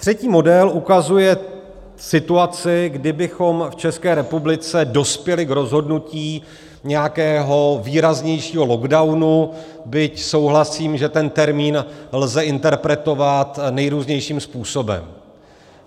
Třetí model ukazuje situaci, kdy bychom v České republice dospěli k rozhodnutí nějakého výraznějšího lockdownu, byť souhlasím, že ten termín lze interpretovat nejrůznějším způsobem.